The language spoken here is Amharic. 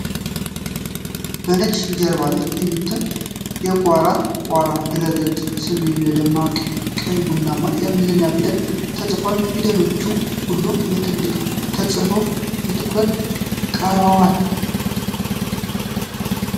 በነጭ ጀርባ ላይ የሚታየው የኩዎራ (ቋራ) ድረ-ገጽ ስም በደማቅ ቀይ ቡናማ የእንግሊዝኛ ፊደላት ተጽፏል። ፊደሎቹ ሁሉም በትልቁ ተጽፈው በትኩረት ቀርበዋል።